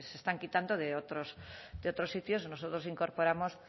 que se están quitando de otros sitios nosotros incorporamos